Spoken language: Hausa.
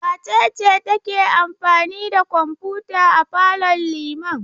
Wace ce take amfani da kwamfuta a falon Liman?